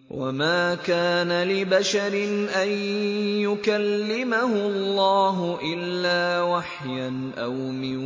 ۞ وَمَا كَانَ لِبَشَرٍ أَن يُكَلِّمَهُ اللَّهُ إِلَّا وَحْيًا أَوْ مِن